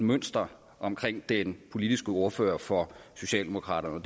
mønster omkring den politiske ordfører for socialdemokraterne og